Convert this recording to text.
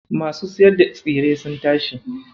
Masu siyar da tsire sun tashi.